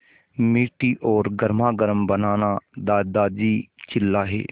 मीठी और गर्मागर्म बनाना दादाजी चिल्लाए